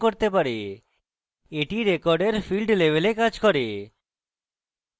এটি record field level কাজ করে